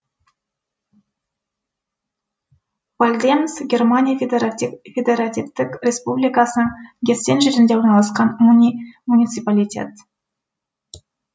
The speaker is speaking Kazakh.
вальдемс германия федеративтік республикасының гессен жерінде орналасқан муниципалитет